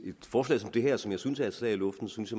forslag som det her som jeg synes er et slag i luften synes